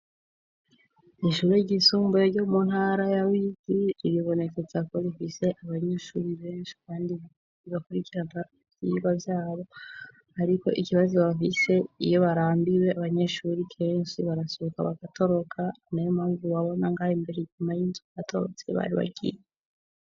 Ishuri ryisumbuye ryo mu ntara yawigi ibibonekeza ko rifise abanyeshuri benshi, kandi igakurikirana vyirwa vyabo, ariko ikibazo bafise iyo barambiwe abanyeshuri kensi barasohoka bagatoroka na yo mamvu wabonangahe imbere nyuma y'inzugatorotse baribagiye.